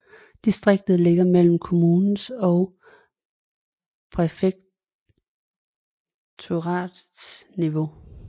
Distriktet ligger mellem kommunens og præfekturets niveau